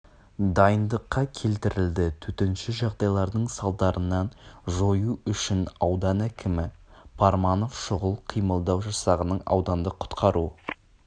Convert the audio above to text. дайындыққа келтірілді төтенше жағдайлардың салдарын жою үшін аудан әкімі парманов шұғыл қимылдау жасағының аудандық құтқару